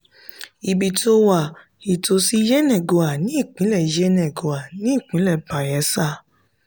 ibi tó wà: ìtòsí yenagoa ní ìpínlẹ̀ yenagoa ní ìpínlẹ̀ bayelsa